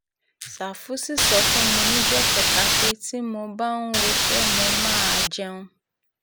ṣàfù sì sọ fún mi níjọ́ kẹta pé tí mo bá ń woṣẹ́ mo máa jẹun